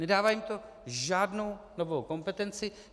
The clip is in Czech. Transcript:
Nedává jim to žádnou novou kompetenci.